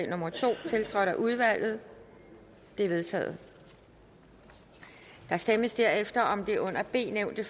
nummer to tiltrådt af udvalget det er vedtaget der stemmes derefter om det under b nævnte